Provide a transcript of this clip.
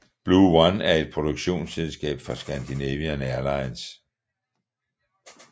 Blue1 er et produktionsselskab for Scandinavian Airlines